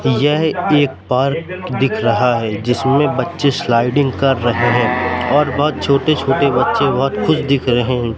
यह एक पार्क दिख रहा है जिसमें बच्चे स्लाइडिंग कर रहे हैं और बहोत छोटे छोटे बच्चे बहोत खुश दिख रहे हैं।